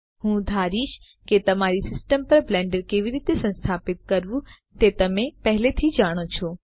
હું ધારીશ કે તમારી સિસ્ટમ પર બ્લેન્ડર કેવી રીતે સંસ્થાપિત કરવું તે તમે પહેલેથી જાણો છો